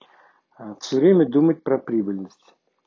все время думать про прибыльность